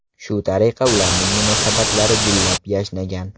Shu tariqa ularning munosabatlari gullab-yashnagan.